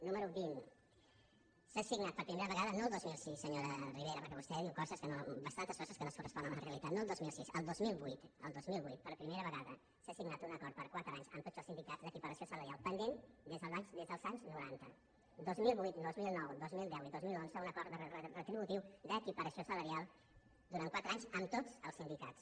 número vint s’ha signat per primer vegada no el dos mil sis senyora ribera perquè vostè diu bastantes coses que no es corresponen amb la realitat no el dos mil sis el dos mil vuit el dos mil vuit per primera vegada s’ha signat un acord per quatre anys amb tots els sindicats d’equiparació sala·rial pendent des dels anys noranta dos mil vuit dos mil nou dos mil deu i dos mil onze un acord retributiu d’equiparació salarial durant quatre anys amb tots els sindicats